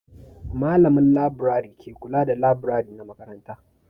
Malamin laburare ke kula da laburare na makaranta.